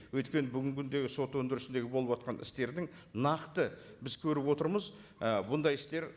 өйткені бүгінгі күндегі сот өндірісіндегі болыватқан істердің нақты біз көріп отырмыз ы бұндай істер